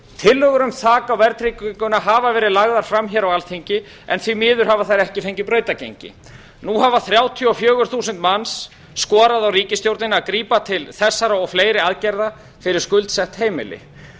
tillögur um þak á verðtrygginguna hafa verið lagðar fram á alþingi en því miður hafa þær ekki fengið brautargengi nú hafa þrjátíu og fjögur þúsund manns skorað á ríkisstjórnina að grípa til þessara og fleiri aðgerða fyrir skuldsett heimili